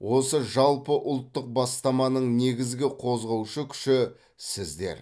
осы жалпыұлттық бастаманың негізгі қозғаушы күші сіздер